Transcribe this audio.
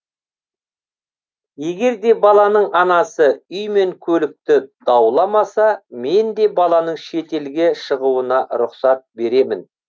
егер де баланың анасы үй мен көлікті дауламаса мен де баланың шетелге шығуына рұқсат беремін